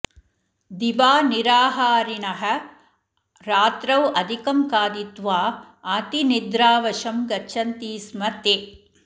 दिवा निराहारिणः रात्रौ अधिकं खादित्वा अतिनिद्रावशं गच्छन्ति स्म ते